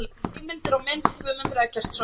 Heimildir og mynd: Guðmundur Eggertsson.